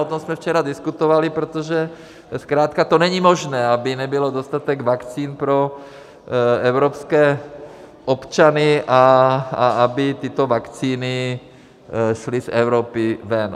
O tom jsme včera diskutovali, protože zkrátka to není možné, aby nebyl dostatek vakcín pro evropské občany a aby tyto vakcíny šly z Evropy ven.